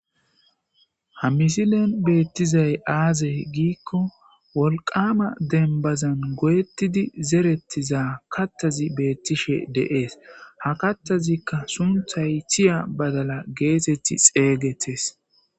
ha misilen beettizay aaze giikko wolqama denbazan goyettidi zerettiza kattazi beettishe deees ha kattazikka sunthay thiya badala geesetti xeeygetes